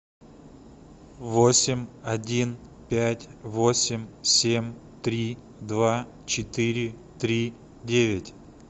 восемь один пять восемь семь три два четыре три девять